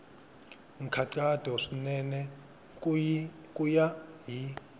nkhaqato swinene ku ya hi